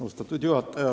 Austatud juhataja!